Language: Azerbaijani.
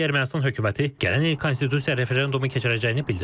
Belə ki, Ermənistan hökuməti gələn il Konstitusiya referendumu keçirəcəyini bildirib.